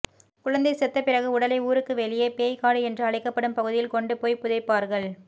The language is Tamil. குழந்தை செத்த பிறகு உடலை ஊருக்கு வெளியே பேய் காடு என்று அழைக்கப்படும் பகுதியில் கொண்டு போய் புதைப்பார்கள்